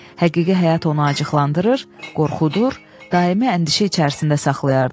Həqiqi həyat onu acıqlandırır, qorxudur, daimi əndişə içərisində saxlayırdı.